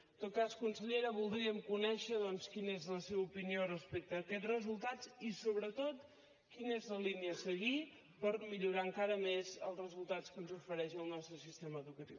en tot cas consellera voldríem conèixer doncs quina és la seva opinió respecte a aquests resultats i sobretot quina és la línia a seguir per millorar encara més els resultats que ens ofereix el nostre sistema educatiu